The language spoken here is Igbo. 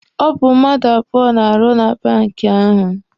Ọ bụ mmadụ abụọ na-arụ na banki ahụ.